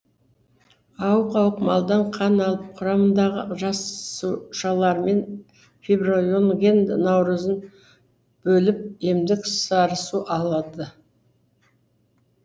ауық ауық малдан қан алып құрамындағы жасушалармен фибринген нәруызын бөліп емдік сарысу алады